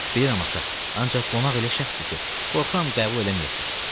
Bəli ata, ancaq qonaq elə şəxsdir ki, qorxuram qəbul eləməyəsiniz.